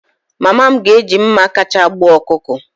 Mama m ga-eji mma kacha gbuo ọkụkọ.